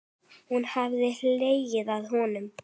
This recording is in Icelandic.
Hún hefði hlegið að honum.